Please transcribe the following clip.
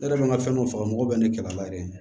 Ne yɛrɛ man ka fɛn dɔ faga mɔgɔ bɛ ne kɛlɛ la yɛrɛ de